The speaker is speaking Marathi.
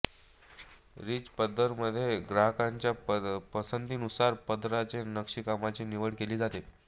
रिच पदरमध्ये ग्राहकाच्या पसंतीनुसार पदराच्या नक्षीकामाची निवड केली जाते